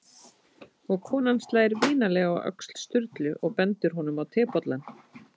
Og konan slær vinalega á öxl Sturlu og bendir honum á tebollann.